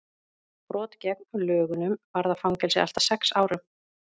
brot gegn lögunum varða fangelsi allt að sex árum